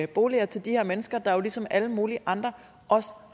boliger til de her mennesker der jo ligesom alle mulige andre også